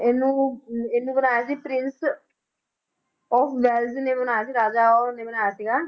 ਇਹਨੂੰ ਇਹਨੂੰ ਬਣਾਇਆ ਸੀ Prince of ਵੈਲਜ ਨੇ ਬਣਾਇਆ ਸੀ ਰਾਜਾ ਉਹਨੇ ਬਣਾਇਆ ਸੀਗਾ।